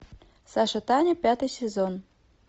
саша таня пятый сезон